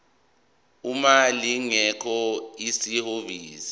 uma lingekho ihhovisi